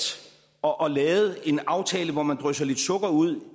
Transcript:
og og lavet en aftale hvor man drysser lidt sukker ud